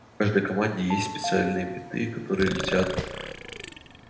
в каждой команде есть специальные биты которые летят